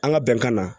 An ka bɛnkan na